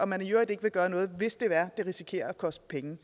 man i øvrigt ikke vil gøre noget hvis det er at det risikerer at koste penge